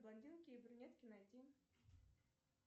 блондинки и брюнетки найти